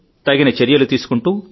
తగిన చర్యలు తీసుకుంటూ